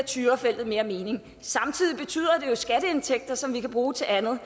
tyrafeltet mere mening samtidig betyder det jo skatteindtægter som vi kan bruge til andet